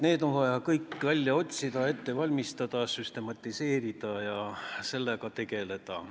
Need on vaja süstematiseerida ja nendega tegeleda.